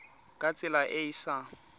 ka tsela e e sa